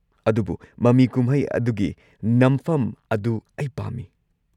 ꯑꯗꯨꯕꯨ ꯃꯃꯤ ꯀꯨꯝꯍꯩ ꯑꯗꯨꯒꯤ ꯅꯝꯐꯝ ꯑꯗꯨ ꯑꯩ ꯄꯥꯝꯃꯤ꯫